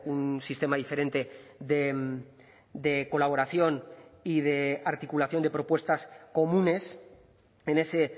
un sistema diferente de colaboración y de articulación de propuestas comunes en ese